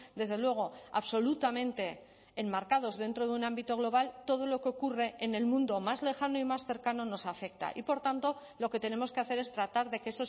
desde luego absolutamente enmarcados dentro de un ámbito global todo lo que ocurre en el mundo más lejano y más cercano nos afecta y por tanto lo que tenemos que hacer es tratar de que